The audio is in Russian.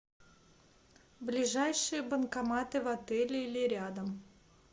ближайшие банкоматы в отеле или рядом